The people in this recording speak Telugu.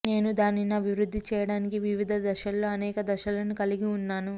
నేను దానిని అభివృద్ధి చేయడానికి వివిధ దశలలో అనేక దశలను కలిగి ఉన్నాను